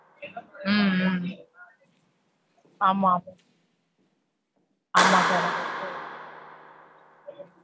ஹம் ஹம் ஆமா. ஆமா sir ஆமா sir.